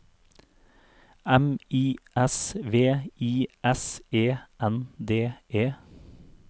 M I S V I S E N D E